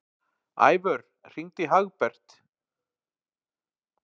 Ævör, hringdu í Hagbert.